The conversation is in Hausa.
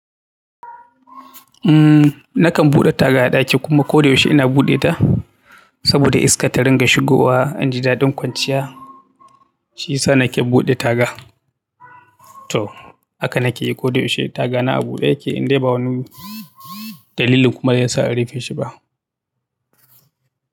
Umm, nakan buɗe taga a ɗaki kuma koda yaushe ina buɗe ta saboda iska ta ringa shigowa, inju da ɗin kwanciya shi yasa nake buɗe taga. To haka nakeyi koda yaushe tagana a buɗe yake indai ba wani dalilin kuma yasa in rufe shi ba.